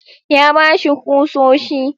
Ya ba shi kusoshi.